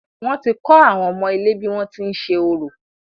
Wọ́n ti kọ́ àwọn ọmọ ilé bí wọ́n ti ń ṣe orò.